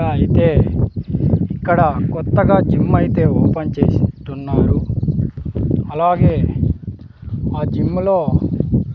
అయితే ఇక్కడ కొత్తగా జిమ్ అయితే ఓపెన్ చేసినట్టు ఉన్నారు అలాగే ఆ జిమ్ము లో.